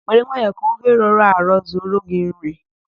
Were nwayọ ka ofe rọrọ arọ zuoro gị nri!